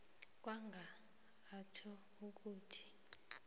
kwanga atjho ukuthi